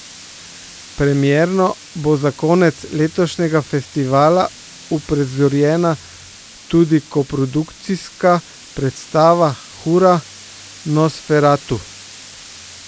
Premierno bo za konec letošnjega festivala uprizorjena tudi koprodukcijska predstava Hura, Nosferatu!